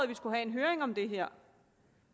vi skulle have en høring om det her